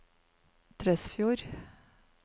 Tresfjord